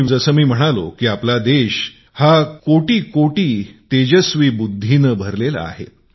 जसे मी म्हणालो देश करोडोकरोडो तेजस्वी बुद्धी ने भरलेला आहे